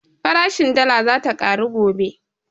Farashin dala zata ƙaru gobe